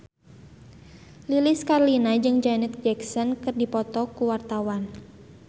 Lilis Karlina jeung Janet Jackson keur dipoto ku wartawan